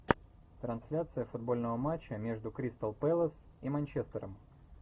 трансляция футбольного матча между кристал пэлас и манчестером